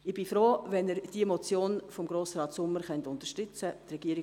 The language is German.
Ich bin froh, wenn Sie die Motion von Grossrat Sommer unterstützen können.